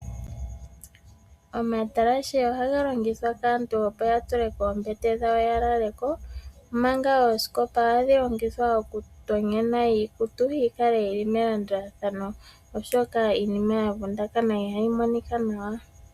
Omatalashe ohaga longithwa kaantu opo ya tule koombete dhawo ya lale ko, omanga ooskopa ohadhi longithwa okutonyena iikutu, yi kale yi li melandulathano, oshoka iinima ya vundakana ihayi monika nawa.